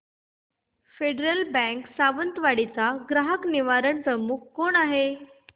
federal Bank Sawantwadi चा ग्राहक निवारण प्रमुख कोण आहे